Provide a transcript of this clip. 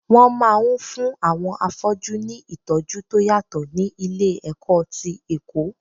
Wọn máa ń fún àwọn afọ́jú ní ìtọ́jú tó yàtọ̀ ní ilé-ẹ̀kọ́ ti Èkó.